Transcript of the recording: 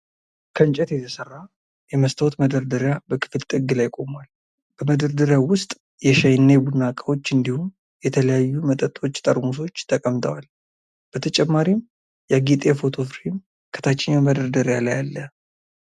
ከእንጨት የተሰራ የመስታወት መደርደሪያ በክፍል ጥግ ላይ ቆሟል። በመደርደሪያው ውስጥ የሻይ እና የቡና እቃዎች እንዲሁም የተለያዩ መጠጦች ጠርሙሶች ተቀምጠዋል። በተጨማሪም ያጌጠ የፎቶ ፍሬም ከታችኛው መደርደሪያ ላይ አለ።